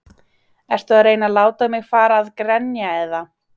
Ertu að reyna að láta mig fara að grenja eða?